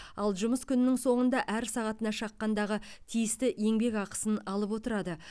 ал жұмыс күнінің соңында әр сағатына шаққандағы тиісті еңбекақысын алып отырады